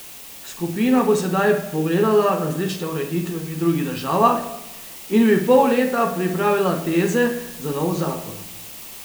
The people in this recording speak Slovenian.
Skupina bo sedaj pogledala različne ureditve v drugih državah in v pol leta pripravila teze za nov zakon.